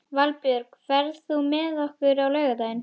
Valbjörk, ferð þú með okkur á laugardaginn?